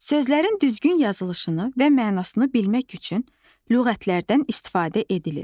Sözlərin düzgün yazılışını və mənasını bilmək üçün lüğətlərdən istifadə edilir.